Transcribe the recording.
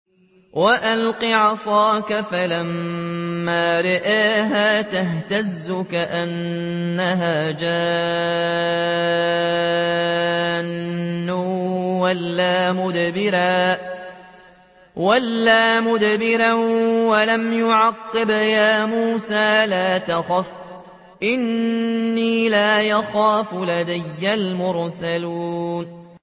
وَأَلْقِ عَصَاكَ ۚ فَلَمَّا رَآهَا تَهْتَزُّ كَأَنَّهَا جَانٌّ وَلَّىٰ مُدْبِرًا وَلَمْ يُعَقِّبْ ۚ يَا مُوسَىٰ لَا تَخَفْ إِنِّي لَا يَخَافُ لَدَيَّ الْمُرْسَلُونَ